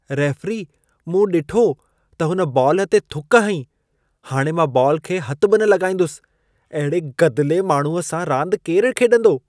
Referee, मूं ॾिठो त हुन बॉल ते थुक हईं। हाणि मां बॉल खे हथि बि न लॻाईंदुसि। अहिड़े गदिले माण्हूअ सां रांद केर खेॾंदो?